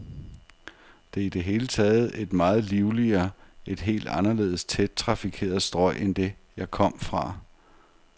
Det er i det hele taget et meget livligere, et helt anderledes tæt trafikeret strøg end det, jeg kom fra.